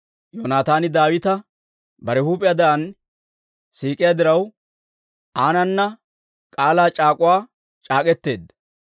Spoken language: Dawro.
Yoonataani Daawita bare huup'iyaadan siik'iyaa diraw, aanana k'aalaa c'aak'uwaa c'aak'k'eteedda.